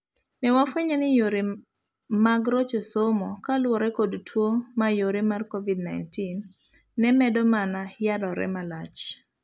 Ne wafuenyo ni yore mag rocho somo kaluwore kod tuo mayore mar covid-19 ne medo mana yarre malach.